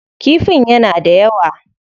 Kifin yana da yawa.